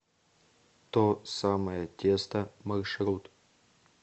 то самое тесто маршрут